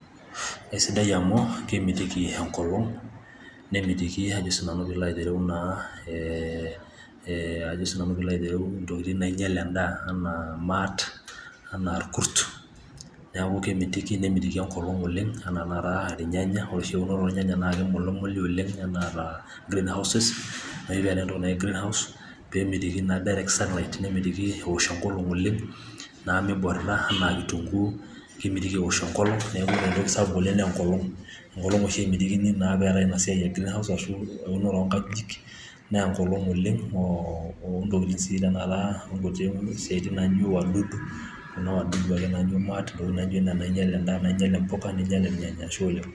Eisidai amu kemitiki enkolong nemetiki ee ee ajo naasiinanu peilo aitereu eee ajo naa sinanu peilo aitereu intokitin naainyial endaa enaa imaat enaa irkurt neeku kemitiki nemitiki enkolong oleng enaa tenakata irnyanya ore oshi irnyanya na keimulumuli oleng enaetaa Green houses naa ore ena toki naji Green house peemitiki naa direct sunlight nemitiki ewosh enkolong oleng naa miborita enaa kitunguu kemitiki ewosh enkolong amu ore entoki sapuk oleng naa enkolong, enkolong oshi emitikini naa peetai ina siai e Green house ashuu eunore oonkajikik naa enkolong oleng oo ontokitin sii tenakata onkuti siatin naijio wadudu kuna wadudu ake naijio imaat ntokitin naaijio nena nainyial endaa neinyial impuka ashe oleng.